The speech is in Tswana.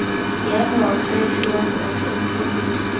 ya moakhaefe wa porofense le